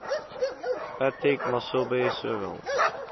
patrick masobe sowel